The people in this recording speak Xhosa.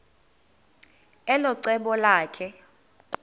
elo cebo lakhe